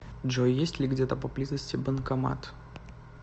джой есть ли где то поблизости банкомат